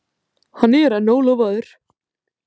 Hann er enn ólofaður.